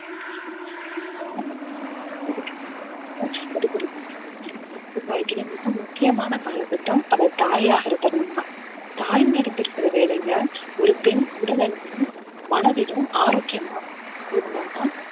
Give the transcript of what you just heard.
வாழ்க்கையிலே மிக முக்கியமான காலகட்டம் அவள் தாயாகுற தருணம்தான் தாய்மை அடைந்திருக்கிற வேலையில ஒரு பெண் உடல் அளவிலும் மனதிலும் ஆரோக்கியமா இருந்தாதான்